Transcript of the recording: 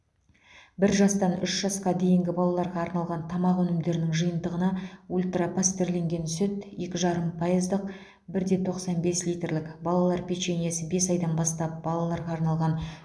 бір жастан үш жасқа дейінгі балаларға арналған тамақ өнімдерінің жиынтығына ультра пастерленген сүт екі жарым пайыздық бір де тоқсан бес литрлік балалар печеньесі бес айдан бастап балаларға арналған